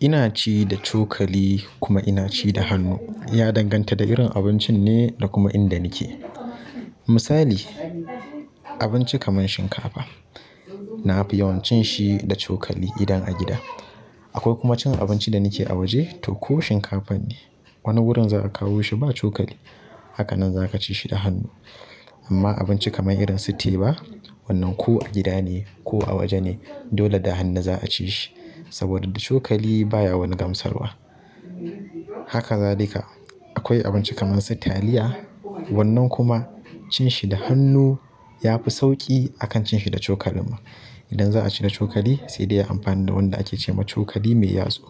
Ina ci da cokali kuma ina ci da hannu ya danganta da irin abincin ne da kuma inda nake. Misali, abinci kamar shinkafa, na fi yawan cin shi da cokali idan a gida. Akwai kuma cin abinci da nake a waje to ko shinkafa ne, wani wurin za a kawo shi ba cokali. Haka nan za ka ci shi da hannu. Amma abinci kamar irin su teba, wannan ko a gida ne ko a waje ne, dole da hannu za a ci shi saboda da cokali baya wani gamsarwa. Haka za duka. Akwai abinci kamar su taliya, wannan kuma cin shi da hannu ya fi sauƙi akan cin shi da cokalin ma. Idan za a ci da cokali sai dai a amfani da wanda ake ce ma cokali mai yatsu.